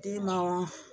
Den ma